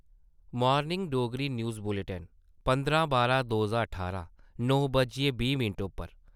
Morning Dogri news bulletin पंदरां बारां दो ज्हार ठारां नौ बज्जियै बीह् मैंट पर ।